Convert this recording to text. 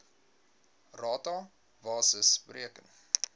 rata basis bereken